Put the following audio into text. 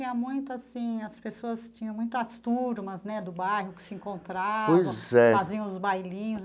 Tinha muito assim as pessoas tinha muitas turmas né do bairro que se encontravam, faziam os bailinhos.